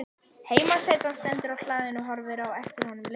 Heimasætan stendur á hlaðinu og horfir á eftir honum lengi.